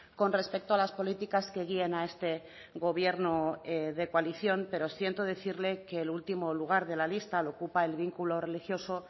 con respecto a las políticas que guían a este gobierno de coalición pero siento decirle que el último lugar de la lista lo ocupa el vínculo religioso